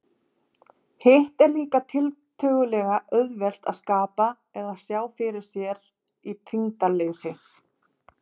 Hitt er líka tiltölulega auðvelt, að skapa eða sjá fyrir sér þyngdarleysi.